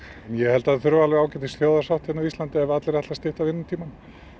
ég held að það þurfi ágætis þjóðarsátt hérna á Íslandi ef allir ætla að stytta vinnutímann